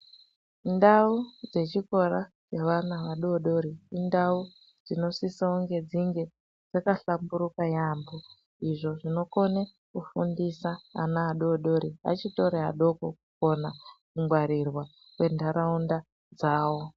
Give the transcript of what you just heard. Ndau dzechikora dzevana adodori indau dzinosisa kunge dzinge dzakahlamburuka yamho izvo zvinokone kufundisa ana adodori achitori adoko kukona kungwarirwa kwentaraunda dzavo.